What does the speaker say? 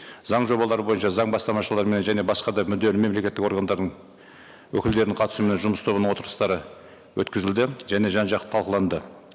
заң жобалары бойынша заң бастамашылармен және басқа да мүдделі мемлекеттік органдардың өкілдерінің қатысуымен жұмыс тобының отырыстары өткізілді және жан жақты талқыланды